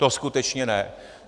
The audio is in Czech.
To skutečně ne.